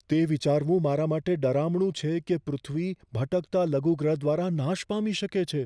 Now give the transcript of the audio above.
તે વિચારવું મારા માટે ડરામણું છે કે પૃથ્વી ભટકતા લઘુગ્રહ દ્વારા નાશ પામી શકે છે.